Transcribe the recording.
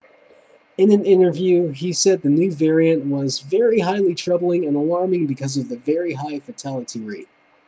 in an interview he said the new variant was very highly troubling and alarming because of the very high fatality rate